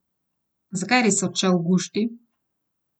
Zakaj je res odšel Gušti?